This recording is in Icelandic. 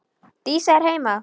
Dísa er heima!